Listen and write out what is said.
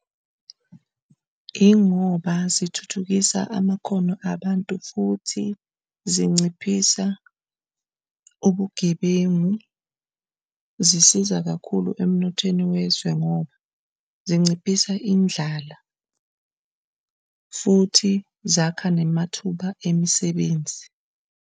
Ingoba zithuthukisa amakhono abantu futhi zinciphisa ubugebengu zisiza kakhulu emnothweni wezwe, ngoba sinciphise indlala futhi zakha namathuba emsebenzi.